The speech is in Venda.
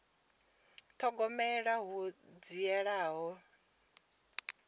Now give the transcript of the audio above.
u thogomela hu dzhiela nṱha